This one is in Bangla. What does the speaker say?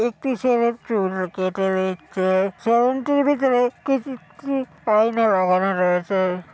একটি ছেলের চুল কেটে দিচ্ছে। সেলুনটির ভিতরে কেঁচির ট্রি আয়না লাগানো রয়েছে।